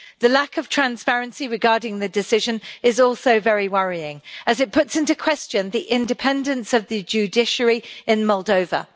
The lack of transparency regarding the decision is also very worrying as it calls into question the independence of the judiciary in Moldova.